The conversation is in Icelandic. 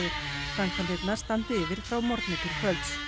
framkvæmdirnar standi yfir frá morgni til kvölds